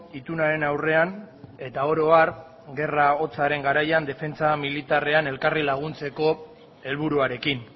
itunaren aurrean eta oro har gerra hotzaren garaian defentsa militarrean elkarri laguntzeko helburuarekin